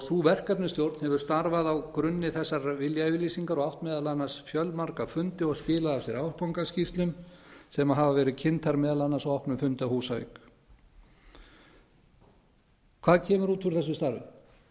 sú verkefnastjórn hefur starfað á grunni þessarar viljayfirlýsingar og átt meðal annars fjölmarga fundi og skilað af sér áfangaskýrslum sem hafa verið kynntar meðal annars á opnum fundi á húsavík hvað kemur út úr þessu starfi